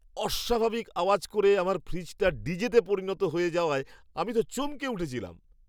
অস্বাভাবিক আওয়াজ করে আমার ফ্রিজটা ডিজেতে পরিণত হয়ে যাওয়ায় আমি তো চমকে উঠেছিলাম!